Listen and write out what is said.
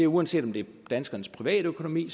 uanset om det er danskernes privatøkonomi